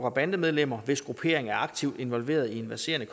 og bandemedlemmer hvis gruppering er aktivt involveret i en verserende